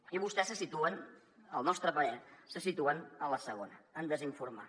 i vostès se situen al nostre parer en la segona en desinformar